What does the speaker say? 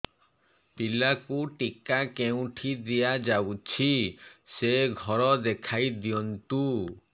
ପିଲାକୁ ଟିକା କେଉଁଠି ଦିଆଯାଉଛି ସେ ଘର ଦେଖାଇ ଦିଅନ୍ତୁ